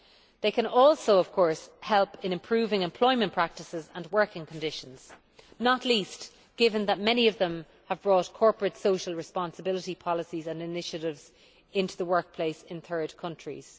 They can also, of course, help in improving employment practices and working conditions, not least given that many of them have brought corporate social responsibility policies and initiatives into the workplace in third countries.